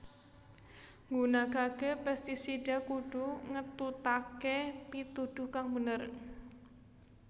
Nggunakaké pestisida kudu ngetutaké pituduh kang bener